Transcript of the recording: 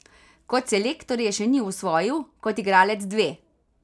Kot selektor je še ni osvojil, kot igralec dve.